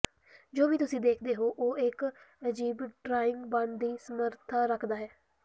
ਜੋ ਵੀ ਤੁਸੀਂ ਦੇਖਦੇ ਹੋ ਉਹ ਇੱਕ ਅਜੀਬ ਡਰਾਇੰਗ ਬਣਨ ਦੀ ਸਮਰੱਥਾ ਰੱਖਦਾ ਹੈ